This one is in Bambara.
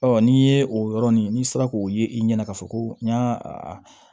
n'i ye o yɔrɔnin n'i sera k'o ye i ɲɛna k'a fɔ ko n y'a